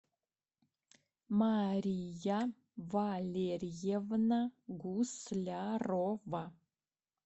мария валерьевна гуслярова